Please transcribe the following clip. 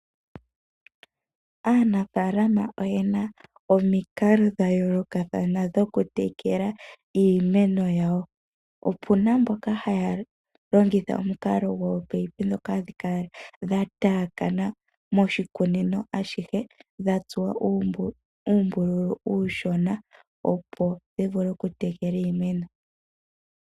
Aanafaalama oyena omikalo dha yoolokathana dhoku tekela iimeno yawo. Opuna mboka haya longitha omukalo gominino dhoka hadhi kala dha tayakana moshikunino ashihe, dha tsuwa uumbululu uushona opo dhi vule oku tekela iimeno.